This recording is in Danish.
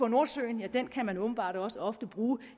nordsøen ja den kan man åbenbart også ofte bruge